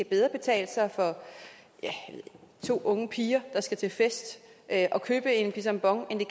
kan betale sig for to unge piger der skal til fest at købe en pisang ambon end det